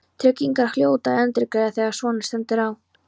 Tryggingarnar hljóta að endurgreiða þegar svona stendur á.